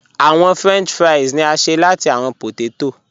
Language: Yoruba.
Awọn french fries ni a ṣe lati awọn pótètó.